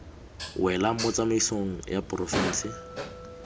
welang mo tsamaisong ya porofense